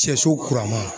Sɛso kura ma